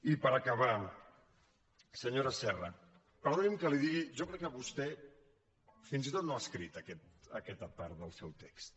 i per acabar senyora serra perdoni’m que li ho digui jo crec que vostè fins i tot no ha escrit aquesta part del seu text